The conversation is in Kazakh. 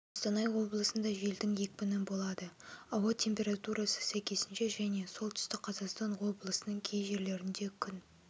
қостанай облысында желдің екпіні болады ауа температурасы сәйкесінше және солтүстік қазақстан облысының кей жерлерінде күн